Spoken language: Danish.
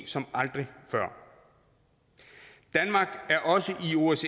som aldrig før danmark er også